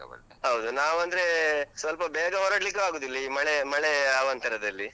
ಹೌದು. ನಾವ್ ಅಂದ್ರೇ, ಸ್ವಲ್ಪ ಬೇಗ ಹೊರಡ್ಲಿಕ್ಕೂ ಆಗುದಿಲ್ಲ ಈ ಮಳೆ ಮಳೆ ಅವಾಂತರದಲ್ಲಿ.